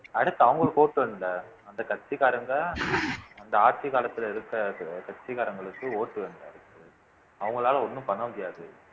அடுத்து அவங்களுக்கு ஓட்டு வந்த அந்த கட்சிக்காரங்க அந்த ஆட்சி காலத்துல இருக்கிற கட்சிக்காரங்களுக்கு ஓட்டு அவங்களால ஒண்ணும் பண்ண முடியாது